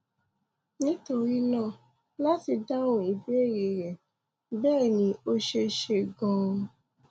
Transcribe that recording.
nítorí náà láti dáhùn ìbéèrè rẹ bẹẹ ni ó ṣeé ṣe ganan